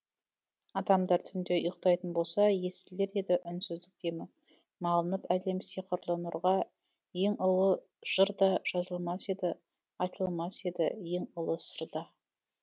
адамдар түнде ұйықтайтын болса естілер еді үнсіздік демі малынып әлем сиқырлы нұрға ең ұлы жыр да жазылмас еді айтылмас еді ең ұлы сыр да